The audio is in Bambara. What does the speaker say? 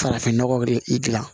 Farafin nɔgɔ de i dilan